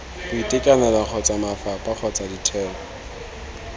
boitekanelo kgotsa mafapha kgotsa ditheo